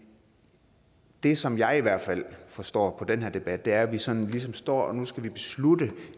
det som jeg i hvert fald forstår på den her debat er at vi sådan står nu skal beslutte